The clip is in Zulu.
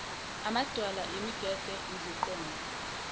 amadwala imigede iziqongo